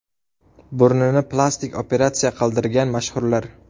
Burnini plastik operatsiya qildirgan mashhurlar.